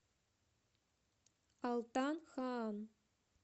алтан хаан